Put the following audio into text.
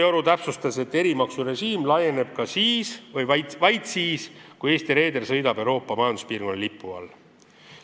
Ta täpsustas, et erimaksurežiim kohaldub vaid siis, kui Eesti reeder sõidab Euroopa Majanduspiirkonna riigi lipu all.